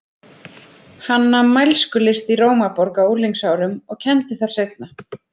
Hann nam mælskulist í Rómaborg á unglingsárum og kenndi þar seinna.